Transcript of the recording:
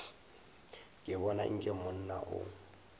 ke bona nke monna o